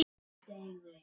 Knútur og Guðný.